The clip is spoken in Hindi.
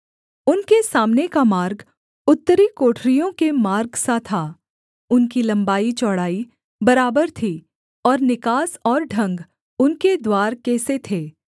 उनके सामने का मार्ग उत्तरी कोठरियों के मार्गसा था उनकी लम्बाईचौड़ाई बराबर थी और निकास और ढंग उनके द्वार के से थे